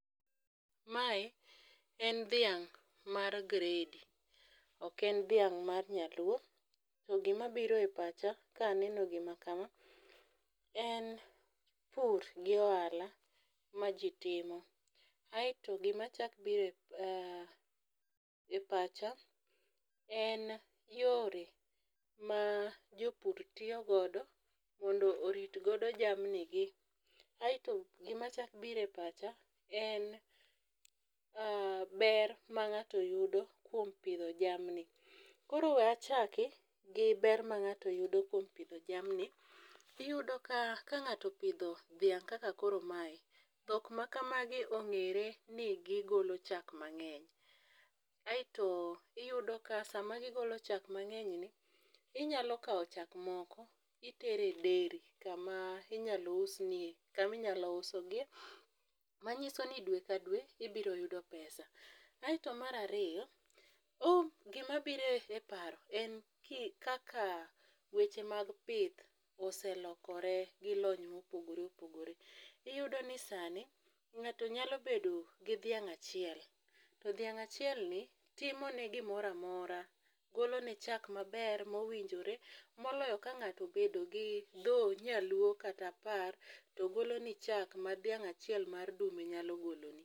Mae en dhiang' mar gredi, ok en dhiang' mar nyaluo. To gimabiro e pacha kaneno gima kama, en pur gi ohala ma ji timo, aeto gimachako biro e pacha en yore ma jopur tiyo godo mondo orit godo jamnigi. Aeto gimachako biro e pacha en ber ma ng'ato yudo kuom pidho jamni. Koro we achaki gi ber ma ng'ato yudo kuom pidho jamni, iyudo ka ,ka ng'ato opidho dhiang' kaka koro mae, dhok ma kamagi ong'ere ni gigolo chak mang'eny. Aeto iyudo ka sama gigolo chak mang'enyni, inyalo kawo chak moko itere dairy, kama inyalo usogie, manyiso ni dwe ka dwe ibiro yudo pesa. Aeto mar ariyo, gimabiro e paro en kaka weche mag pith oselokore gi lony mopogore opogore. Iyudoni sani, ng'ato nyalo bedo gi dhiang' achiel, to dhiang' achielni timone gimora mora, golone chak maber mowinjore, moloyo ka ng'ato obedo gi dho nyaluo kata apar, to goloni chak ma dhiang' achiel mar dume nyalo goloni.